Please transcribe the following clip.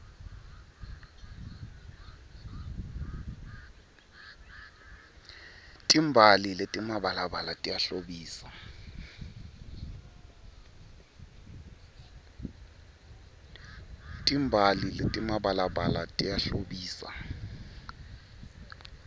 timbali letimabalabala tiyahlobisa